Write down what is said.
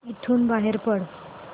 इथून बाहेर पड